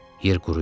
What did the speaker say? Yer quruyurdu.